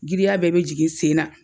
Giriya bɛɛ be jigin sen na